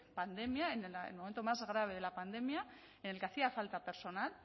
pandemia en el momento más grave de la pandemia en el que hacía falta personal